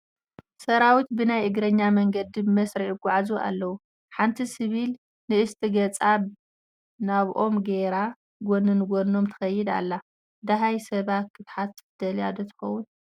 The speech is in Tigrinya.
ሰራዊት ብናይ እግረኛ መንገዲ ብመስርዕ ይጐዓዙ ኣለዉ፡፡ ሓንቲ ሲቪል ንእስቲ ገፃ ናብኦም ገይራ ጐኒ ንጐኖም ትኸይድ ኣላ፡፡ ድሃይ ሰባ ክትሓትት ደልያ ዶ ትኸውን?